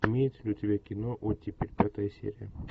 имеется ли у тебя кино оттепель пятая серия